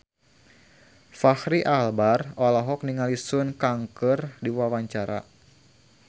Fachri Albar olohok ningali Sun Kang keur diwawancara